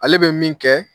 Ale bɛ min kɛ